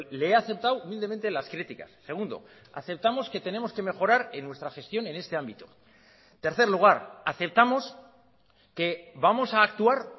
le he aceptado humildemente las críticas segundo aceptamos que tenemos que mejorar en nuestra gestión en este ámbito tercer lugar aceptamos que vamos a actuar